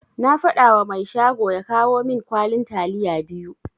Na fadawa mai shago ya kawo min kwalin taliya biyu.